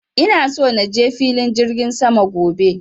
ina so naje filin jirgin sama gobe